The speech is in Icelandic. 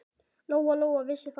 Lóa-Lóa vissi það.